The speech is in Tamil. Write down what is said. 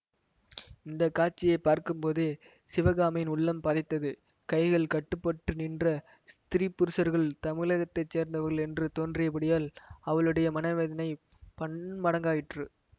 இந்த காட்சியை பார்க்கும்போதே சிவகாமியின் உள்ளம் பதைத்தது கைகள் கட்டுப்பட்டு நின்ற ஸ்திரீ புருஷர்கள் தமிழகத்தை சேர்ந்தவர்கள் என்று தோன்றியபடியால் அவளுடைய மனவேதனை பன்மடங்காயிற்று